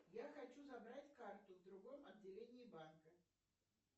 я хочу забрать карту в другом отделении банка